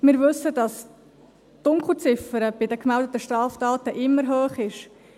Wir wissen, dass die Dunkelziffer bei den gemeldeten Straftaten immer hoch ist.